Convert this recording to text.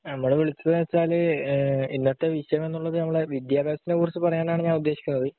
നമ്മൾ വിളിച്ചതെന്നുവെച്ചാല് ഇന്നത്തെ വിഷയം എന്നുവെച്ചാൽ വിദ്യാഭ്യാസത്തെക്കുറിച്ച് പറയാനാണ് ഞാൻ ഉദ്ദേശിക്കുന്നത്.